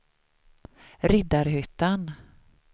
Riddarhyttan